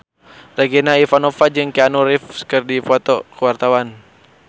Regina Ivanova jeung Keanu Reeves keur dipoto ku wartawan